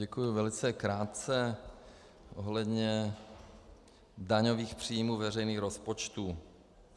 Děkuji, velice krátce ohledně daňových příjmů veřejných rozpočtů.